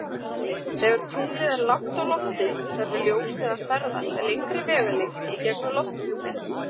Þegar tunglið er lágt á lofti þarf ljósið að ferðast lengri vegalengd í gegnum lofthjúpinn.